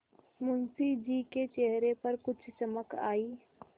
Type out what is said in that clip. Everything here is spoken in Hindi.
मुंशी जी के चेहरे पर कुछ चमक आई